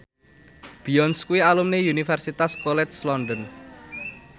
Beyonce kuwi alumni Universitas College London